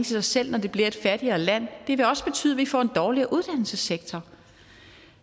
sig selv når det bliver et fattigere land det vil også betyde at vi får en dårligere uddannelsessektor